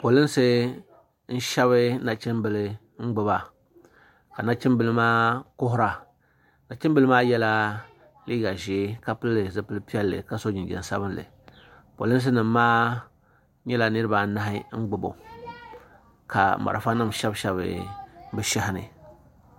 Polinsi n shɛbi nachim bila n gbuba ka nachim bila maa kuhira nachim bila maa ye la liiga zɛɛ ka pili zupili piɛlli ka so jinjam sabinli polinsi nim maa nyɛla niriba anahi n gbubi o la marafa nima shɛbi shɛbi bi shɛhi bi shɛhi ni.